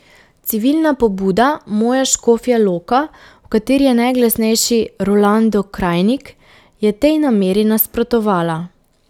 Civilna pobuda Moja Škofja Loka, v kateri je najglasnejši Rolando Krajnik, je tej nameri nasprotovala.